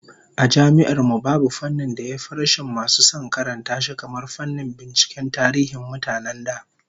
A Jami'ar mu, babu fannin da ya fi rashin masu son karanta shi kamar fannin binciken tarihin mutanen da